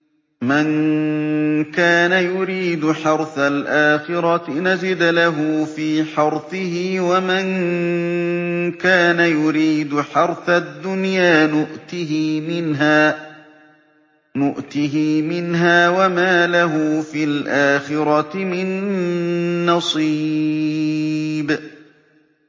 مَن كَانَ يُرِيدُ حَرْثَ الْآخِرَةِ نَزِدْ لَهُ فِي حَرْثِهِ ۖ وَمَن كَانَ يُرِيدُ حَرْثَ الدُّنْيَا نُؤْتِهِ مِنْهَا وَمَا لَهُ فِي الْآخِرَةِ مِن نَّصِيبٍ